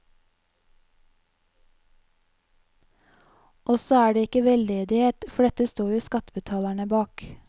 Også er det ikke veldedighet, for dette står jo skattebetalerne bak.